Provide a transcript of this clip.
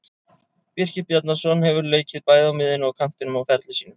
Birkir Bjarnason hefur leikið bæði á miðjunni og kantinum á ferli sínum.